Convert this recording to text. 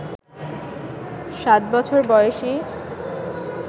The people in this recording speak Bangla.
সাত বছর বয়সি